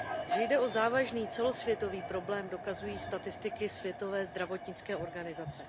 Že jde o závažný celosvětový problém, dokazují statistiky Světové zdravotnické organizace.